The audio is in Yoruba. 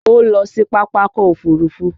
Ó lọ sí Pápákọ̀ Òfurufú